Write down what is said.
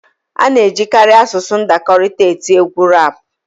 A na-ejikarị asụsụ ndakọrịta eti egwu rap